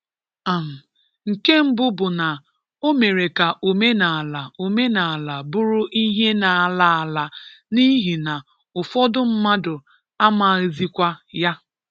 um Nke mbu bụ na o mere ka omenala omenala bụrụ ihe na-ala ala n'ihi na ụfọdụ mmadụ amaghịzikwa ya.